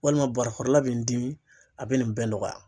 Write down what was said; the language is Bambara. Walima barakɔrɔla bɛ n dimi a bɛ nin bɛɛ nɔgɔya.